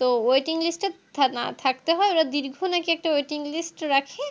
তো Waiting list থা না থাকতে হয় ওটা দীর্ঘ নাকি একটা Waiting list রাখে